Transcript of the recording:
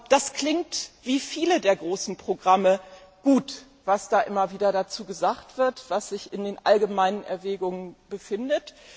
Es klingt wie viele der großen Programme gut, was immer wieder dazu gesagt wird, was sich in den allgemeinen Erwägungen befindet.